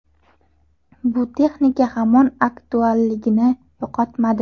Bu texnika hamon aktualligini yo‘qotmadi.